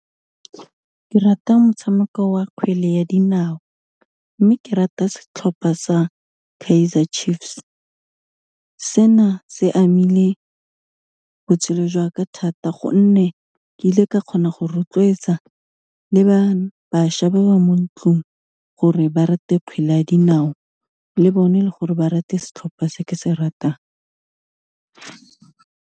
Ke rata motshameko wa kgwele ya dinao mme, ke rata setlhopha sa Kaizer Chiefs, se na se amile botshelo jwa ka thata gonne ke ile ka kgona go rotloetsa le ba, bašwa ba ba mo ntlung gore ba rata kgwele ya dinao le bone le gore ba rate setlhopha se ke se ratang.